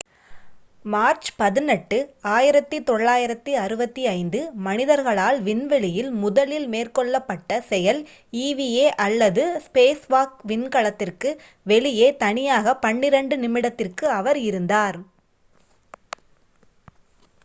"March 18 1965 மனிதர்களால் விண்வெளியில் முதலில் மேற்கொள்ளப்பட்ட செயல் eva அல்லது "ஸ்பேஸ்வாக்" விண்கலத்திற்கு வெளியே தனியாக பன்னிரண்டு நிமிடத்திற்கு அவர் இருந்தார்.